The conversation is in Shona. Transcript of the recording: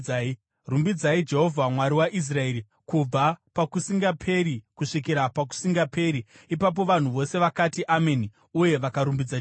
Rumbidzai Jehovha, Mwari waIsraeri, kubva pakusingaperi kusvikira pakusingaperi. Ipapo vanhu vose vakati, “Ameni” uye vakarumbidza Jehovha.